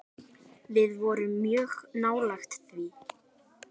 Við vorum mjög nálægt því.